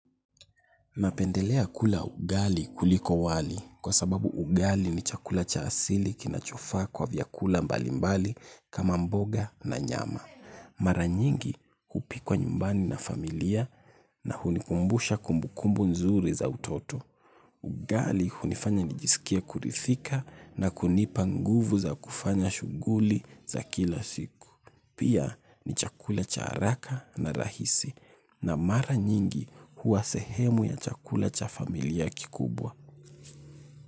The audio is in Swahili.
Napendelea kula ugali kuliko wali kwa sababu ugali ni chakula cha asili kinachofaa kwa vyakula mbali mbali kama mboga na nyama. Mara nyingi hupikwa nyumbani na familia na hunikumbusha kumbukumbu nzuri za utoto. Ugali hunifanya nijisikie kuridhika na kunipa nguvu za kufanya shughuli za kila siku. Pia ni chakula cha haraka na rahisi na mara nyingi huwa sehemu ya chakula cha familia kikubwa.